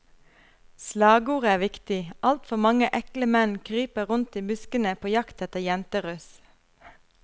Slagordet er viktig, alt for mange ekle menn kryper rundt i buskene på jakt etter jenteruss.